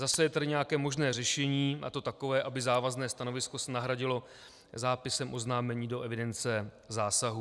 Zase je tady nějaké možné řešení, a to takové, aby závazné stanovisko se nahradilo zápisem oznámení do evidence zásahů.